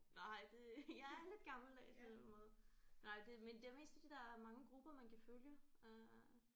Nej det jeg er lidt gammeldags på den måde. Nej det men det er mest fordi der er mange grupper man kan følge øh